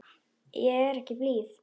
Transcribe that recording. Ég er ekki blíð.